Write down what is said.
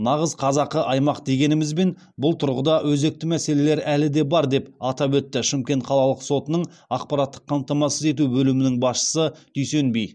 нағыз қазақы аймақ дегенімізбен бұл тұрғыда өзекті мәселелер әлі де бар деп атап өтті шымкент қалалық сотының ақпараттық қамтамасыз ету бөлімінің басшысы дүйсенби